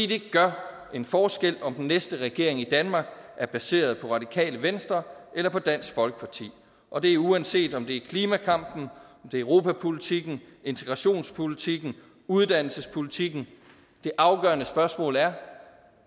det gør en forskel om den næste regering i danmark er baseret på radikale venstre eller på dansk folkeparti og det er uanset om det gælder klimakampen europapolitikken integrationspolitikken uddannelsespolitikken det afgørende spørgsmål er